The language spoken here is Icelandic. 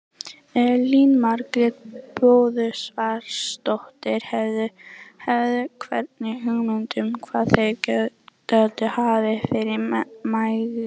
Elín Margrét Böðvarsdóttir: Hefurðu einhverja hugmynd um hvað þeir gætu hafa verið margir?